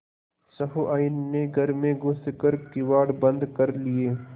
सहुआइन ने घर में घुस कर किवाड़ बंद कर लिये